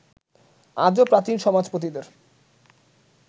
আজও প্রাচীন সমাজপতিদের